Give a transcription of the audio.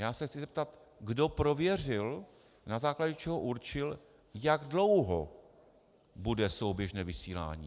Já se chci zeptat, kdo prověřil, na základě čeho určil, jak dlouho bude souběžné vysílání.